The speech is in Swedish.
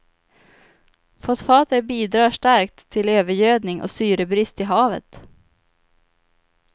Fosfater bidrar starkt till övergödning och syrebrist i havet.